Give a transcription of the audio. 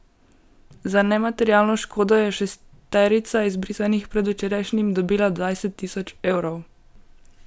Za nematerialno škodo je šesterica izbrisanih predvčerajšnjim dobila dvajset tisoč evrov.